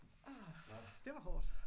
Det var hårdt